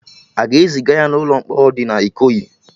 Aga ezịga ya na ụlọ mkpọrọ dị na Ikoyi?